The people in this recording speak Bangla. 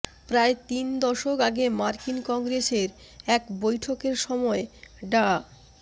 প্রায় তিন দশক আগে মার্কিন কংগ্রেসের এক বৈঠকের সময় ডা